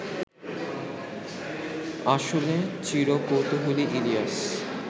আসলে চির কৌতূহলী ইলিয়াস